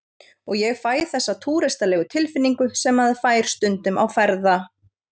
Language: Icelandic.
Og ég fæ þessa túristalegu tilfinningu sem maður fær stundum á ferða